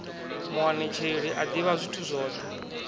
muanetsheli a ḓivha zwithu zwoṱhe